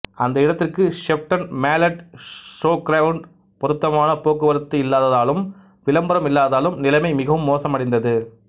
அந்த இடத்திற்கு Shepton Mallet showground பொருத்தமான போக்குவரத்து இல்லாததாலும் விளம்பரம் இல்லாததாலும் நிலைமை மிகவும் மோசமடைந்தது